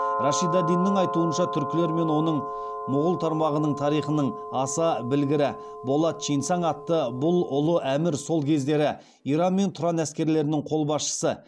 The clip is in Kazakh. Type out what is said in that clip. рашид ад диннің айтуынша түркілер мен оның мұғул тармағының тарихының аса білгірі болат чинсаң атты бұл ұлы әмір сол кездері иран мен тұран әскерлерінің қолбасшысы